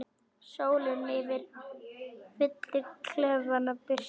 Sólin fyllir klefann birtu.